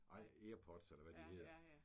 Nej Airpods eller hvad de hedder